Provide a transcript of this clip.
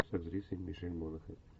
с актрисой мишель монахэн